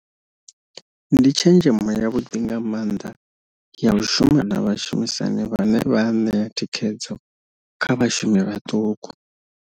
Ndi tshenzhemo yavhuḓi nga maanḓa ya u shuma na vhashumisani vhane vha a ṋea thikhedzo kha vhashumi vhaṱuku.